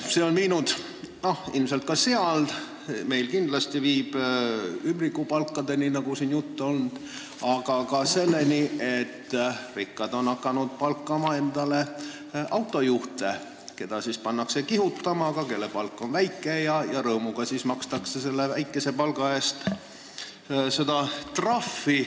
See on viinud ilmselt ka seal ümbrikupalkadeni, nagu siin juttu on olnud, aga ka selleni, et rikkad on hakanud palkama endale autojuhte, keda siis pannakse kihutama, aga kelle palk on väike, ja rõõmuga makstakse selle väikese palga pealt trahvi.